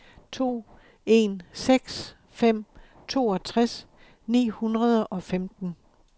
to en seks fem toogtres ni hundrede og femten